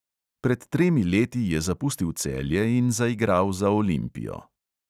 Pred tremi leti je zapustil celje in zaigral za olimpijo.